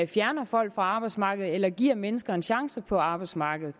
fjerner folk fra arbejdsmarkedet eller giver mennesker en chance på arbejdsmarkedet